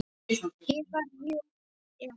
Ég var jú elst.